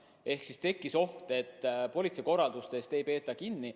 Ehk siis tekkis oht, et politsei korraldustest ei peeta kinni.